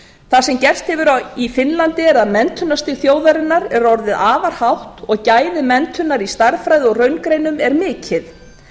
það sem gerst hefur í finnlandi er að menntunarstig þjóðarinnar er orðið afar hátt og gæði menntunar í stærðfræði og raungreinum er mikil